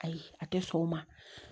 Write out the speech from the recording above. Ayi a tɛ sɔn o ma